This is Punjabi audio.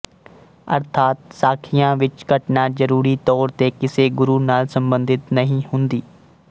ਅਰਥਾਤ ਸਾਖੀਆਂ ਵਿੱਚ ਘਟਨਾ ਜ਼ਰੂਰੀ ਤੌਰ ਤੇ ਕਿਸੇ ਗੁਰੂ ਨਾਲ ਸਬੰਧਿਤ ਨਹੀਂ ਹੁੰਦੀ